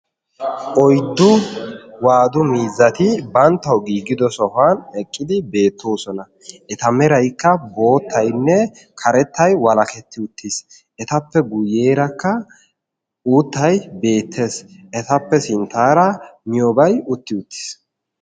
Oyddu waadu miizzati banttaw giigida sohuwan eqqidi beettoosona. Eta meraykka boottaynne karettay walaketti uttis. Etappe guyyeerakka uuttay beettes. Etappe sinttaara miiyoobay utti uttis.